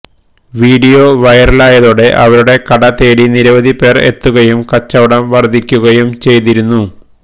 video വൈറലായതോടെ ഇവരുടെ കട തേടി നിരവധി പേര് എത്തുകയും കച്ചവടം വര്ദ്ധിക്കുകയും ചെയ്തിരുന്നു